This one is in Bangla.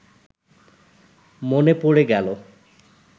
মনে পড়ে গেলো